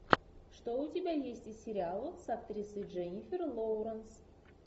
что у тебя есть из сериалов с актрисой дженнифер лоуренс